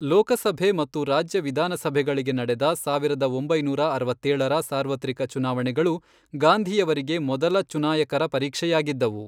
ಲೋಕಸಭೆ ಮತ್ತು ರಾಜ್ಯ ವಿಧಾನಸಭೆಗಳಿಗೆ ನಡೆದ ಸಾವಿರದ ಒಂಬೈನೂರ ಅರವತ್ತೇಳರ ಸಾರ್ವತ್ರಿಕ ಚುನಾವಣೆಗಳು ಗಾಂಧಿಯವರಿಗೆ ಮೊದಲ ಚುನಾಯಕರ ಪರೀಕ್ಷೆಯಾಗಿದ್ದವು.